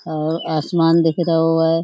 अ आसमान दिख रहो है।